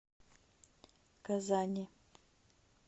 казани